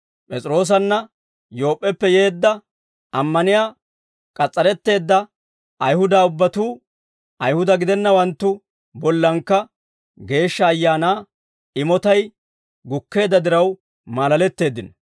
P'es'iroosanna Yoop'p'eppe yeedda, ammaniyaa k'as's'aretteedda Ayihuda ubbatuu Ayihuda gidennawanttu bollankka Geeshsha Ayaanaa imotay gukkeedda diraw maalaletteeddino.